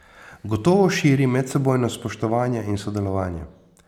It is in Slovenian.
Gotovo širi medsebojno spoštovanje in sodelovanje.